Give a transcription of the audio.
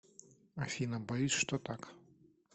афина боюсь что так